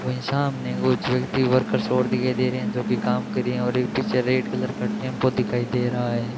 वहीं सामने कुछ व्यक्ति वर्कर और दिखाई दे रहे है जोकि काम कर रही और एक पीछे एक रेड कलर का टेंपो दिखाई दे रहा है।